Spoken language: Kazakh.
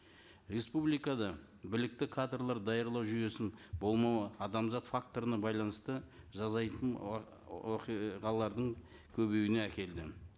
республикада білікті кадрлар даярлау жүйесінің болмауы адамзат факторына байланысты жазайтын оқиғалардың көбеюіне әкелді